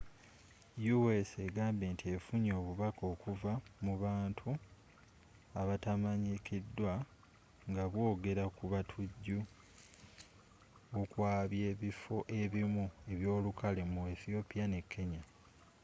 u.s egambye nti effunye obubaka okuva mu bantu abatamanyikiddwa nga bwogera ku batujju okwabya ebiffo ebimu ebyolukale” mu ethiopia ne kenya